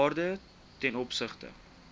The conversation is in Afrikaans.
waarde ten opsigte